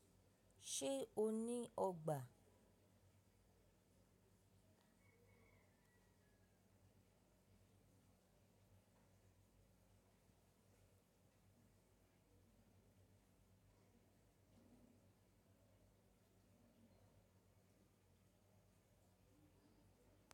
Ṣe o ni ọgbà?